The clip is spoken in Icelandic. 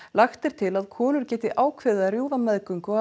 lagt er til að konur geti ákveðið að rjúfa meðgöngu